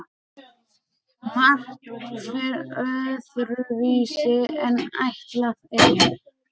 Margt fer öðruvísi en ætlað er.